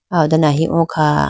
aw ho done ahi o kha.